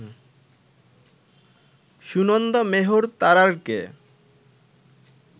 Sunanda Mehar তারারকে